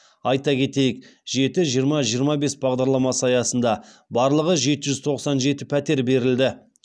айта кетейік жеті жиырма жиырма бес бағдарламасы аясында барлығы жеті жүз тоқсан жеті пәтер берілді